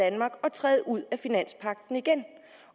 træde ud af finanspagten igen